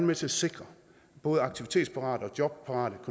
med til at sikre at både aktivitetsparate og jobparate